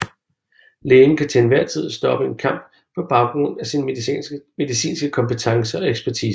Lægen kan til en hver tid stoppe en kamp på baggrund af sin medicinske kompetence og ekspertise